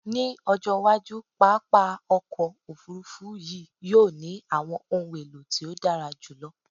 Ni ojo iwaju, papa ọkọ ofurufu yii yoo ni awọn ohun elo ti o dara julọ